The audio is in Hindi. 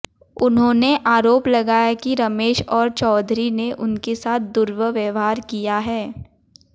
उन्होंने आरोप लगाया कि रमेश और चौधरी ने उनके साथ दुर्व्यवहार किया है